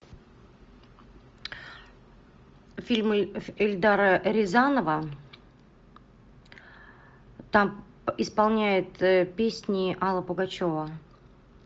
фильм эльдара рязанова там исполняет песни алла пугачева